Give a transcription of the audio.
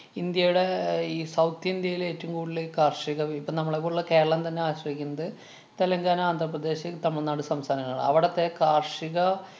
ഇന്‍ഡ്യയുടെ അഹ് ഈ south ഇന്ത്യേലെ ഏറ്റോം കൂടുതല് കാര്‍ഷിക വിഭ~ ഇപ്പ നമ്മളെ പോലുള്ള കേരളം തന്നെ ആശ്രയിക്കുന്നത് തെലുങ്കാന - ആന്ധ്രാപ്രദേശ് - തമിഴ്‌നാട്‌ സംസ്ഥാനങ്ങളെയാണ്. അവിടത്തെ കാര്‍ഷിക